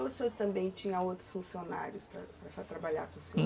Ou o senhor também tinha outros funcionários para trabalhar com o senhor?